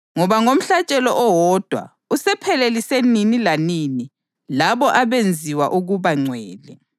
Kusukela ngalesosikhathi ulindele izitha zakhe ukuba zibe yisenabelo sakhe,